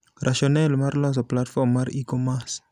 Rationale mar loso platform mar e-commerce.